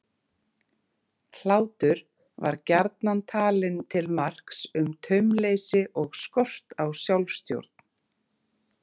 Hlátur var gjarnan talinn til marks um taumleysi og skort á sjálfstjórn.